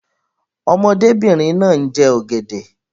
Ọmọdébìnrin náà ń jẹ ọ̀gẹ̀dẹ̀.